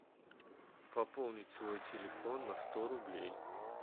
пополнить свой телефон на сто рублей